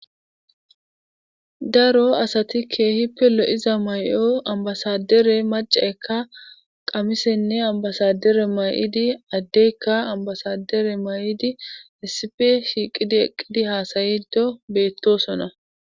Daro asati keehippe lo7iza may7o ambbasaaddere maccaykka qamisenne ambbasaaddere may7idi addeyka ambbasaaddere may7idi issippe shiiqidi eqqidi haasa7iiddo beettoosona.